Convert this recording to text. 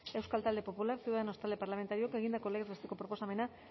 euskal talde popularra ciudadanos talde parlamentarioak egindako legez besteko proposamena